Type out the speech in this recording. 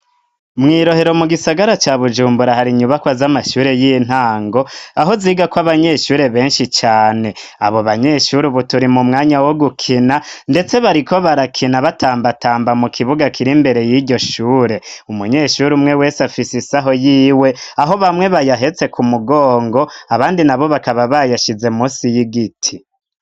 Mw'irohero mu gisagara cya bujumbura hari inyubakwa z'amashure y'intango, aho ziga ko abanyeshure benshi cane, abo banyeshuri buturi mu mwanya wo gukina ndetse bari ko barakina batambatamba mu kibuga kiri imbere y'iryo shure, umunyeshuri umwe wese afisi isaho y'iwe aho bamwe bayahetse ku mugongo abandi na bo bakaba bayashize musi y'igiti.